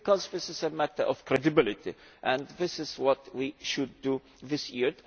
This is a matter of credibility, and it is what we should do this year.